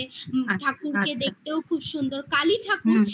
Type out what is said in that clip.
ঠাকুরকে দেখতেও খুব সুন্দর কালী ঠাকুর